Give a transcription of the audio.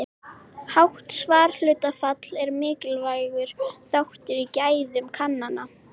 Hátt svarhlutfall er mikilvægur þáttur í gæðum kannana.